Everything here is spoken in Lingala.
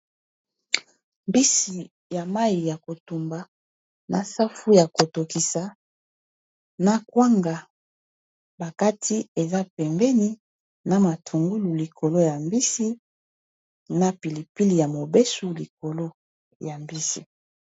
Mbisi ya mayi ya kotumba na safu ya ko tokisa na kwanga bakati eza pembeni na matungulu likolo ya mbisi na pilipili ya mobesu likolo ya mbisi.